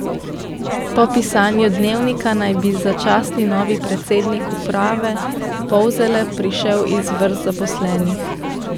Po pisanju Dnevnika naj bi začasni novi predsednik uprave Polzele prišel iz vrst zaposlenih.